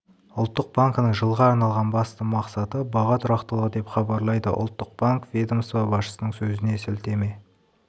ұлттық банкінің жылға арналған басты мақсаты баға тұрақтылығы деп хабарлайды ұлттық банк ведомство басшысының сөзіне сілтеме